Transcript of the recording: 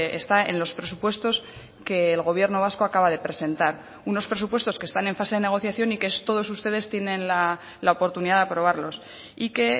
está en los presupuestos que el gobierno vasco acaba de presentar unos presupuestos que están en fase de negociación y que todos ustedes tienen la oportunidad de aprobarlos y que